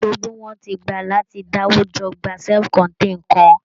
Gbogbo wọn ti gbà láti dáwójọ gba self contained kan